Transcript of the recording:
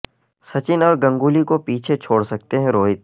سچن اور گنگولی کو پیچھے چھوڑ سکتے ہیں روہت